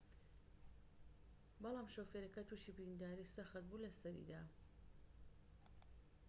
بەڵام شۆفێرەکە توشی برینداریی سەخت بوو لە سەریدا